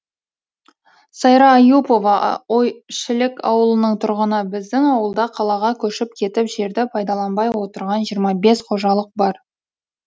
сайра аюпова ойшілік ауылының тұрғыны біздің ауылда қалаға көшіп кетіп жерді пайдаланбай отырған жиырма бес қожалық бар